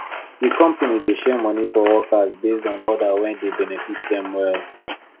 the company dey share money for workers based on order wey dey benefit dem well